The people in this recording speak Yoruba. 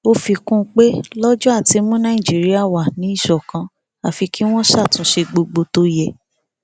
ó fi kún un pé lọjọ àti mú nàìjíríà wà ní ìṣọkan àfi kí wọn ṣàtúnṣe gbogbo tó yẹ